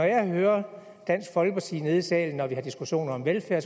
jeg hører dansk folkeparti hernede i salen når vi har diskussioner om velfærd